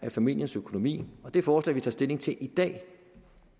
familiernes økonomi og det forslag vi tager stilling til i dag